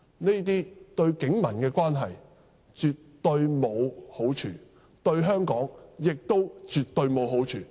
這些對警民關係絕無好處，對香港亦絕無好處。